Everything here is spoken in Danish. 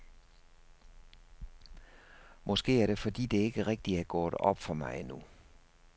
Måske er det fordi det ikke rigtig er gået op for mig endnu.